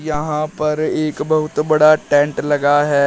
यहां पर एक बहुत बड़ा टेंट लगा है।